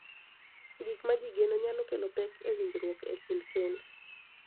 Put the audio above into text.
Gik ma ji geno nyalo kelo pek e winjruok e kind kend .